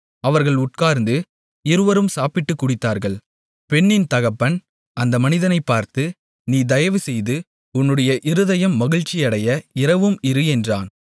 அவர்கள் உட்கார்ந்து இருவரும் சாப்பிட்டுக் குடித்தார்கள் பெண்ணின் தகப்பன் அந்த மனிதனைப் பார்த்து நீ தயவுசெய்து உன்னுடைய இருதயம் மகிழ்ச்சியடைய இரவும் இரு என்றான்